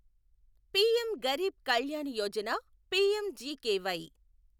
PM Garib Kalyan Yojana PMGKY